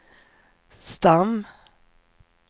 stam